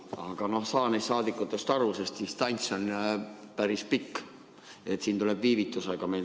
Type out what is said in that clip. Aga ma saan neist saadikutest aru, sest distants on päris pikk, meil tuleb siin viivitusega.